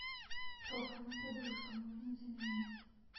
плохая подушка нужно заменить